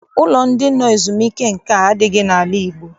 Ụlọ ndị nọ ezumike nka adịghị n'ala Igbo.